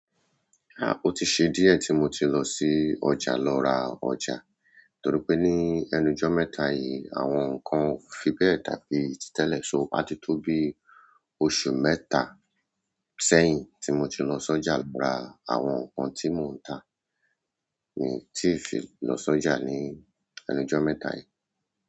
Ó ti ṣe díẹ̀ tí mo ti lọ sí ọjà lọ ra ọjà, torí pé ní ẹnujọ́ mẹ́ta yìí àwọn nǹkan fi bẹ́ẹ̀ dàbí tí tẹ̀lé, so á ti tó bí oṣù mẹ́ta sẹ́yìn tí mo ti lọ sọ́jà ra àwọn nkan tí mò ń tà ni tí n fi lọ sọ́jà ní ẹnujọ́ mẹ́ta yìí.